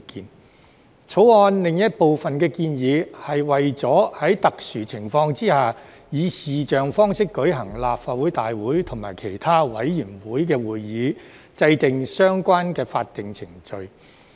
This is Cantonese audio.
《條例草案》另一部分的建議，是為了在特殊情況下以視像方式舉行立法會大會及其他委員會會議，而制訂相關的法定程序。